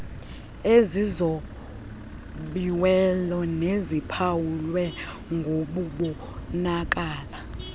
ezizobiweyo neziphawulwe ngokubonakala